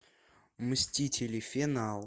мстители финал